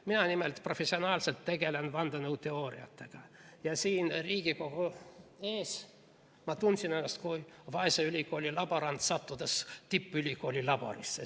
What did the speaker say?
Mina nimelt professionaalselt tegelen vandenõuteooriatega ja siin Riigikogu ees ma tundsin ennast kui vaese ülikooli laborant, sattudes tippülikooli laborisse.